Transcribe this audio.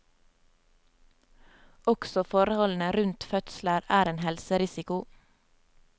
Også forholdene rundt fødsler er en helserisiko.